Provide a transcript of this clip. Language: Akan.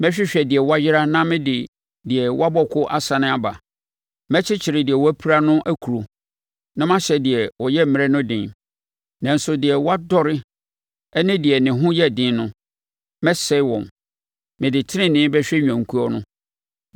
Mɛhwehwɛ deɛ wayera na mede deɛ wabɔ ko asane aba. Mɛkyekyere deɛ wapira no akuro, na mahyɛ deɛ ɔyɛ mmerɛ no den, nanso deɛ wadɔre ne deɛ ne ho yɛ den no, mɛsɛe wɔn. Mede tenenee bɛhwɛ nnwankuo no.